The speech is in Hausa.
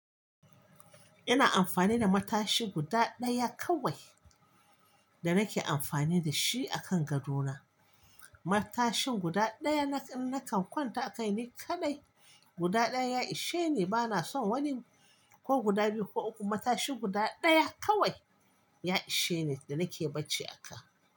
Ina amfani da matashi guda ɗaya kawai da nake amfani da shi a kan gado na. Matashin guda ɗaya na nakan kwanta a kai ni kaɗai. Guda ɗaya ya ishe ni, bana son wani ko guda biyu ko uku, matashi guda ɗaya kawai ya ishe ni da nake bacci a ka.